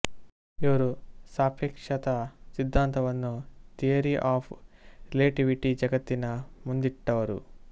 ಇವರು ಸಾಪೇಕ್ಷತ ಸಿದ್ಧಾಂತವನ್ನು ಥಿಯರಿ ಆಫ್ ರಿಲೇಟಿವಿಟಿ ಜಗತ್ತಿನ ಮುಂದಿಟ್ಟವರು